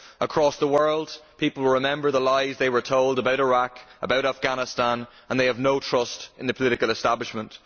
Across the world, people remember the lies they were told about Iraq, about Afghanistan, and they have no trust in the political establishment.